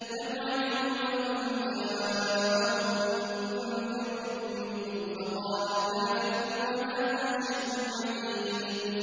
بَلْ عَجِبُوا أَن جَاءَهُم مُّنذِرٌ مِّنْهُمْ فَقَالَ الْكَافِرُونَ هَٰذَا شَيْءٌ عَجِيبٌ